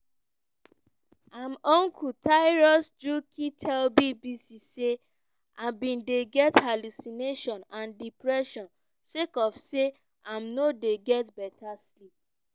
im uncle tirus njuki tell bbc say im bin dey get hallucination and depression sake of say im no dey get beta sleep.